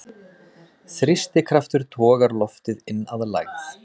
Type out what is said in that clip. Þrýstikraftur togar loftið inn að lægð.